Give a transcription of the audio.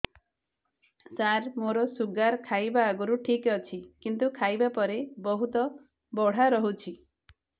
ସାର ମୋର ଶୁଗାର ଖାଇବା ଆଗରୁ ଠିକ ଅଛି କିନ୍ତୁ ଖାଇବା ପରେ ବହୁତ ବଢ଼ା ରହୁଛି